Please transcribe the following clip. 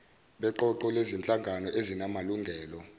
beqoqo lezinhlangano ezinamalungelo